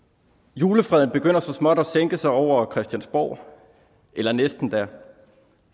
julefreden begynder så småt at sænke sig over christiansborg eller næsten da